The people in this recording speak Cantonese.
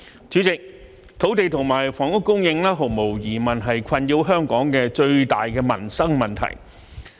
主席，土地和房屋供應毫無疑問是困擾香港的最大民生問題。